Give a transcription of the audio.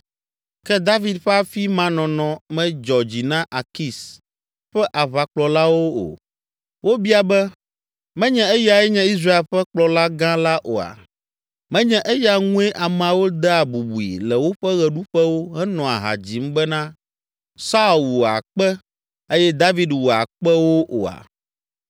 Ke David ƒe afi ma nɔnɔ medzɔ dzi na Akis ƒe aʋakplɔlawo o. Wobia be, “Menye eyae nye Israel ƒe kplɔla gã la oa? Menye eya ŋue ameawo dea bubui le woƒe ɣeɖuƒewo henɔa ha dzim bena, “ ‘Saul wu akpe eye David wu akpewo’ oa?”